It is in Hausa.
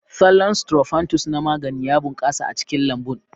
Thollon Sttrophanthus na magani ya bunƙasa a cikin lambun.